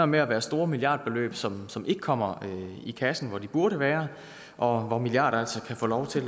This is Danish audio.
med at være store milliardbeløb som som ikke kommer i kassen hvor de burde være og hvor milliarder altså kan få lov til